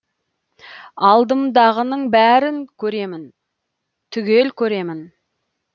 алдымдағының бәрін көремін түгел көремін